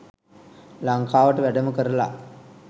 ලංකාවට වැඩම කරල